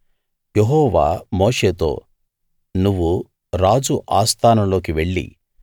యెహోవా మోషేతో నువ్వు రాజు ఆస్థానం లోకి వెళ్లి